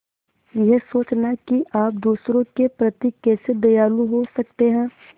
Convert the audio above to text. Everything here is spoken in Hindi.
यह सोचना कि आप दूसरों के प्रति कैसे दयालु हो सकते हैं